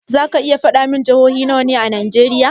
Zaki iya faɗa min jihohi nawa ne a najeriya?